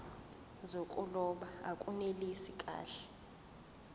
zokuloba akunelisi kahle